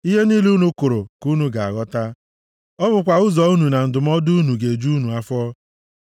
Ihe niile unu kụrụ ka unu ga-aghọta. Ọ bụkwa ụzọ unu na ndụmọdụ unu ga-eju unu afọ.